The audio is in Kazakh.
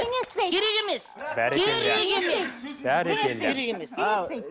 теңеспейді керек емес керек емес бәрекелді